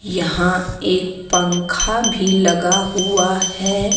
यहां एक पंखा भी लगा हुआ हैं।